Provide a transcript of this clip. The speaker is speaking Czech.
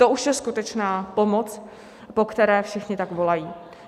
To už je skutečná pomoc, po které všichni tak volají.